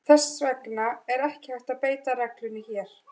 Þess vegna er ekki hægt að beita reglunni hér.